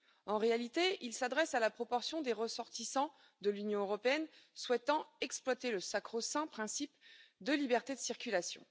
En réalité, il s'adresse à la proportion des ressortissants de l'Union européenne souhaitant exploiter le sacro saint principe de liberté de circulation.